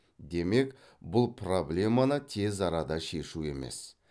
демек бұл проблеманы тез арада шешу емес